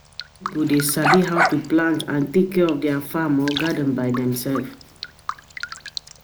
Some pipo de sabi how to plant and take care di farm or garden by dem selves